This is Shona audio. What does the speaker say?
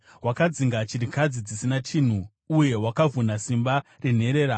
Wakadzinga chirikadzi dzisina chinhu uye wakavhuna simba renherera.